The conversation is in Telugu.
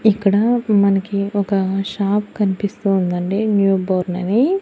ఇక్కడా మనకి ఒక షాప్ కన్పిస్తూ ఉందండి న్యూ బోర్న్ అని.